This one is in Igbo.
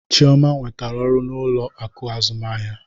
Chioma nwetara ọrụ n'ụlọ akụ azụmahịa.